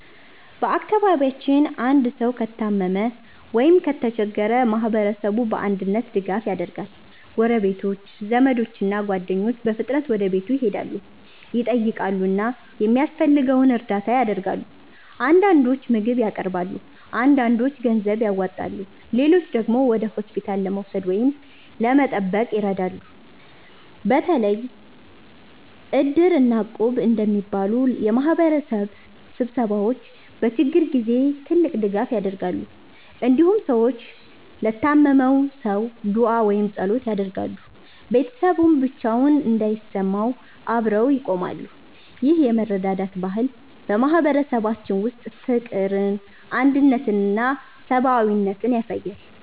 በአካባቢያችን አንድ ሰው ከታመመ ወይም ከተቸገረ ማህበረሰቡ በአንድነት ድጋፍ ያደርጋል። ጎረቤቶች፣ ዘመዶች እና ጓደኞች በፍጥነት ወደ ቤቱ ይሄዳሉ፣ ይጠይቃሉ እና የሚያስፈልገውን እርዳታ ያደርጋሉ። አንዳንዶች ምግብ ያቀርባሉ፣ አንዳንዶች ገንዘብ ያዋጣሉ፣ ሌሎችም ወደ ሆስፒታል ለመውሰድ ወይም ለመጠበቅ ይረዳሉ። በተለይ Iddir እና Equb እንደሚባሉ የማህበረሰብ ስብስቦች በችግር ጊዜ ትልቅ ድጋፍ ያደርጋሉ። እንዲሁም ሰዎች ለታመመው ሰው ዱዓ ወይም ጸሎት ያደርጋሉ፣ ቤተሰቡም ብቻውን እንዳይሰማው አብረው ይቆማሉ። ይህ የመረዳዳት ባህል በማህበረሰባችን ውስጥ ፍቅርን፣ አንድነትን እና ሰብአዊነትን ያሳያል።